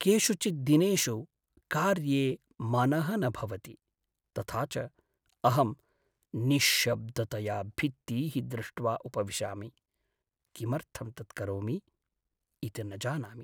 केषुचित् दिनेषु कार्ये मनः न भवति, तथा च अहं निश्शब्दतया भित्तीः दृष्ट्वा उपविशामि, किमर्थं तत् करोमि इति न जानामि।